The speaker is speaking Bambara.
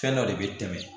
Fɛn dɔ de bɛ tɛmɛ